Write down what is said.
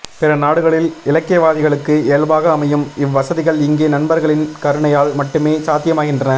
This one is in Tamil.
பிறநாடுகளில் இலக்கியவாதிகளுக்கு இயல்பாக அமையும் இவ்வசதிகள் இங்கே நண்பர்களின் கருணையால் மட்டுமே சாத்தியமாகின்றன